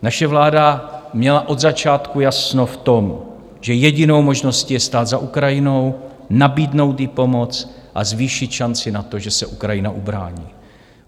Naše vláda měla od začátku jasno v tom, že jedinou možností je stát za Ukrajinou, nabídnout jí pomoc a zvýšit šanci na to, že se Ukrajina ubrání.